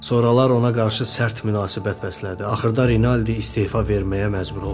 Sonralar ona qarşı sərt münasibət bəslədi, axırda Rinaldi istefa verməyə məcbur oldu.